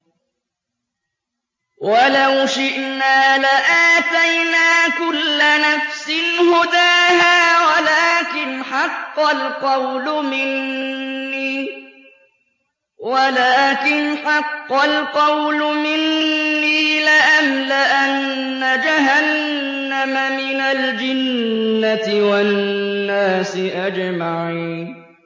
وَلَوْ شِئْنَا لَآتَيْنَا كُلَّ نَفْسٍ هُدَاهَا وَلَٰكِنْ حَقَّ الْقَوْلُ مِنِّي لَأَمْلَأَنَّ جَهَنَّمَ مِنَ الْجِنَّةِ وَالنَّاسِ أَجْمَعِينَ